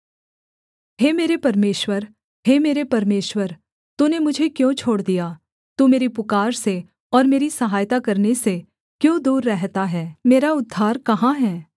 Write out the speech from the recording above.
हे मेरे परमेश्वर हे मेरे परमेश्वर तूने मुझे क्यों छोड़ दिया तू मेरी पुकार से और मेरी सहायता करने से क्यों दूर रहता है मेरा उद्धार कहाँ है